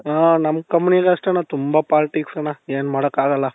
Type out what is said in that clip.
ಅ ನಮ್ companyನಾಗು ಅಷ್ಟೆಣ್ಣ ತುಂಬಾ politics ಅಣ್ಣ ಏನು ಮಾಡಕ್ಕೆ ಆಗಲ್ಲ